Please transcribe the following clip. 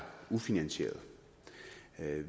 ufinansierede